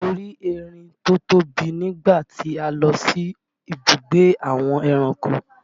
Mo rí erin tó tóbi nígbà tí a lọ sí ibùgbé àwọn ẹranko